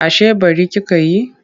Ashe ɓari kika yi?